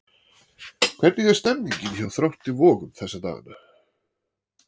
Hvernig er stemmningin hjá Þrótti Vogum þessa dagana?